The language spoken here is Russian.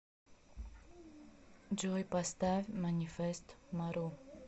джой поставь манифест мару